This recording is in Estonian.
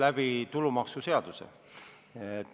Täna natuke aega tagasi me kinnitasime selle seaduse vastuvõtmise.